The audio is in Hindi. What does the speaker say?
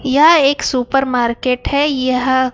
यह एक सुपर मार्केट है यह--